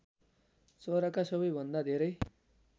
चराका सबैभन्दा धेरै